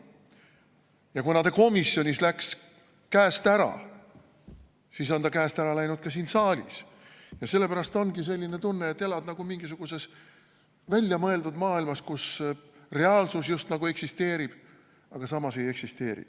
Ja kuna ta komisjonis läks käest ära, siis on ta käest ära läinud ka siin saalis ja sellepärast ongi selline tunne, et elad nagu mingisuguses väljamõeldud maailmas, kus reaalsus just nagu eksisteerib, aga samas ei eksisteeri.